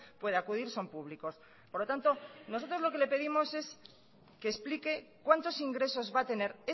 puede acudir son públicos por lo tanto nosotros lo que le pedimos es que explique cuántos ingresos va a tener